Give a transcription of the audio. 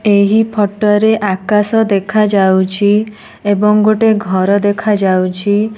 ଏହି ଫଟ ରେ ଆକାଶ ଦେଖା ଯାଉଚି ଏବଂ ଗୋଟେ ଘର ଦେଖା ଯାଉଚି।